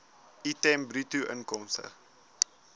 item bruto inkomste